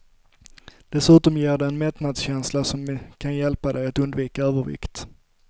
Dessutom ger de en mättnadskänsla som kan hjälpa dig att undvika övervikt.